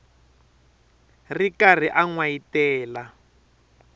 ri karhi a n wayitela